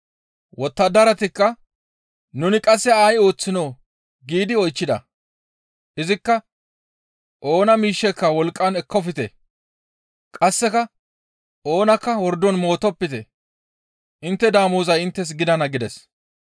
«Wottadaratikka, ‹Nuni qasse ay ooththinoo?› giidi oychchida. Izikka, ‹Oona miishsheka wolqqan ekkofte; qasseka oonakka wordon mootopite; intte damozay inttes gidana› » gides.